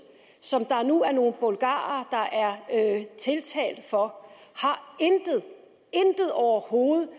som der nu er nogle bulgarere der er tiltalt for intet overhovedet